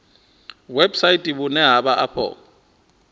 website vhune ha vha afho